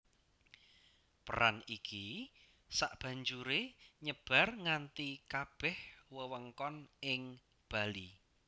Peran iki sabanjuré nyebar nganti kabèh wewengkon ing bali